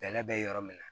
Bɛlɛ bɛ yɔrɔ min na